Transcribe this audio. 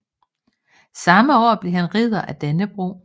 Samme år blev han Ridder af Dannebrog